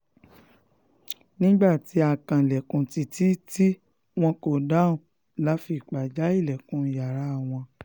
nígbà tí a kanlẹ̀kùn títí tí wọn kò dáhùn la fi ipá já ilẹ̀kùn yàrá wọn